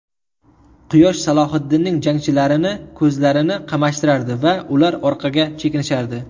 Quyosh Salohiddinning jangchilarini ko‘zlarini qamashtirardi va ular orqaga chekinishardi.